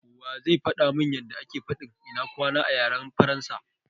Wa zai faɗa mun yanda ake fadin " ina kwana" a yaren Faransa?